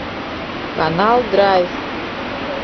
канал драйв